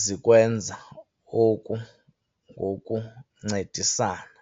zikwenza oku ngokuncedisana.